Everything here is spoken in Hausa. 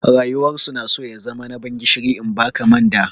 Rayuwar su na so ya zama na ban gishiri in ba ka manda.